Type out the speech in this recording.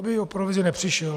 Aby o provizi nepřišel.